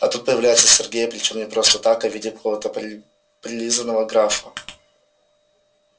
а тут появляется сергей причём не просто так а в виде какого-то прилизанного графа